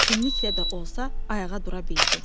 Çətinliklə də olsa, ayağa dura bildi.